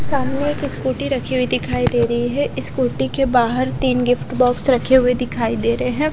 सामने एक स्कूटी रखी हुई दिखाई दे रही है स्कूटी के बाहर तीन गिफ्ट बॉक्स रखे हुए दिखाई दे रहे हैं ।